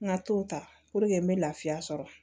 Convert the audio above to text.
N ka to ta puruke n bɛ lafiya sɔrɔ